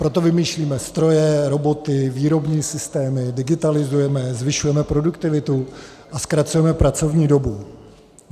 Proto vymýšlíme stroje, roboty, výrobní systémy, digitalizujeme, zvyšujeme produktivitu a zkracujeme pracovní dobu.